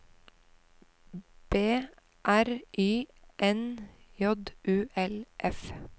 B R Y N J U L F